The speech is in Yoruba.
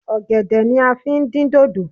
Ọ̀gẹ̀dẹ̀ ni a fi ń dín dòdò